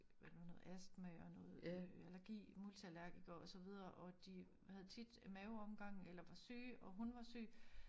Hvad det nu det hedder astma og noget øh allergi multiallergiker og så videre og de havde tit maveomgang eller var syge og hun ar syg